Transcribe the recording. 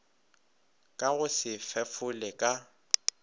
ka go se fefole ka